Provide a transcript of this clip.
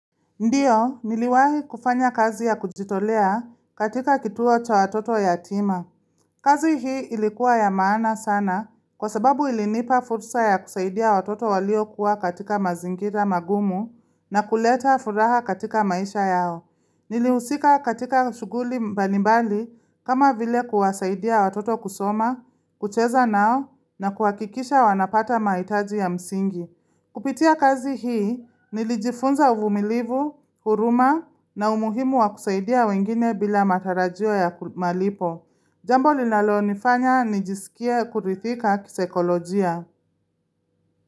Ndiyo, niliwahi kufanya kazi ya kujitolea katika kituo cha watoto yatima. Kazi hii ilikuwa ya maana sana kwa sababu ilinipa fursa ya kusaidia watoto walio kuwa katika mazingira magumu na kuleta furaha katika maisha yao. Nilihusika katika shughuli mbalimbali kama vile kuwasaidia watoto kusoma, kucheza nao na kuhakikisha wanapata mahitaji ya msingi. Kupitia kazi hii nilijifunza uvumilivu, huruma na umuhimu wa kusaidia wengine bila matarajio ya malipo. Jambo linalonifanya nijisikia kuridhika kisaikolojia.